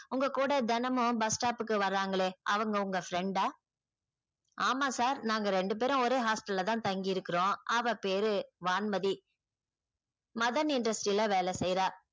உங்க கூட தினமும் bus stop க்கு வராங்களே அவங்க உங்க friend டா ஆமா sir நாங்க ரெண்டு பேரும் ஒரே hostel ல தான் தங்கியிருக்கிறோம். அவ பேரு வான்மதி மதன் industry ல வேலை செய்றா